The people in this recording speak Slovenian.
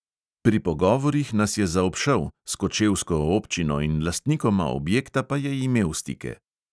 Pri pogovorih nas je zaobšel, s kočevsko občino in lastnikoma objekta pa je imel stike.